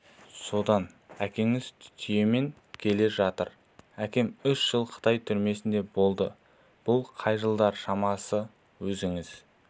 содан әкеңіз түйемен келе жатыр әкем үш жыл қытай түрмесінде болды бұл қай жылдар шамасы өзіңіз